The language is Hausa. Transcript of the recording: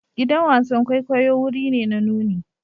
Gidan wasan kwaikwayo wuri ne na nuni.